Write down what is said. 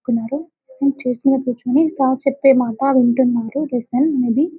నేను చుసిన పిక్ ని సా ర్ చెప్పిన మాట వింటున్నారు లిస్టేన్ మూవీ